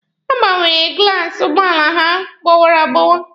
Ha gbanwere glaasi ụgbọala hụ gbọwara agbọwa.